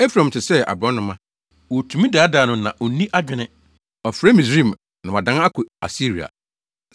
“Efraim te sɛ aborɔnoma, wotumi daadaa no na onni adwene. Ɔfrɛ Misraim, na wadan akɔ Asiria.